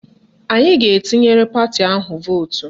Anyị a ga-atụnyere pati ahụ vootu?